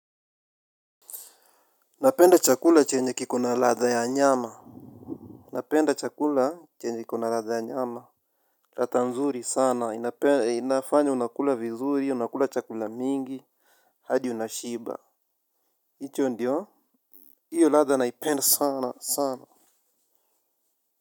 Napenda chakula chenye kiko na radha ya nyama. Napenda chakula chenye kina radha ya nyama radha nzuri sana inafanya unakula vizuri unakula chakula mingi. Hadi unashiba hicho ndio hiyo radha naipenda sana sana.